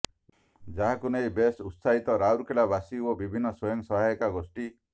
ଯାହାକୁ ନେଇ ବେଶ ଉତ୍ସାହିତ ରାଉରକେଲାବାସୀ ଓ ବିଭିନ୍ନ ସ୍ୱୟଂ ସହାୟିକା ଗୋଷ୍ଠୀ